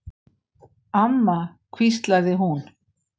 Amma, hvíslaði hún.